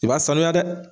I b'a sanuya dɛ